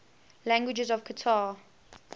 languages of qatar